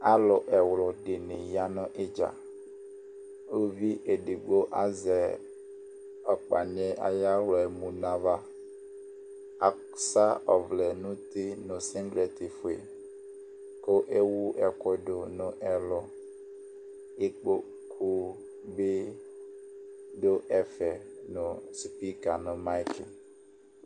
Alu ɛwludini ya nu idza uluviedigbo azɛ ɔkpani yɛ ayu aɣla mu nava asa ɔvlɛ nu uti nu sigliti fue ku ewu ɛku nɛlu ikpoku dini du ɛfɛ nu spika nu mayti